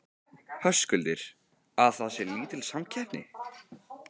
Höskuldur: Að það sé lítil samkeppni?